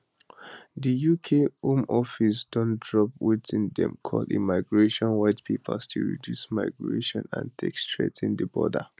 di uk home office don drop wetin dem call immigration white paper to reduce migration and take strengthen di border